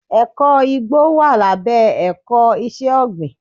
Ẹ̀kọ́ igbó wà lábẹ́ ẹ̀kọ́ iṣẹ́ ọ̀gbìn.